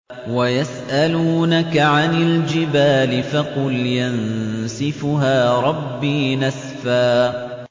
وَيَسْأَلُونَكَ عَنِ الْجِبَالِ فَقُلْ يَنسِفُهَا رَبِّي نَسْفًا